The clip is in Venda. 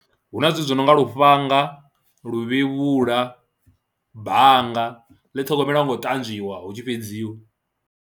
Hu na zwithu zwi no nga lufhanga, luvhevhula, bannga ḽi ṱhogomelwa ngo u ṱanzwiwa hu tshi fhedziwa.